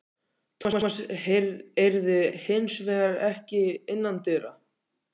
Thomas eirði hins vegar ekki innandyra.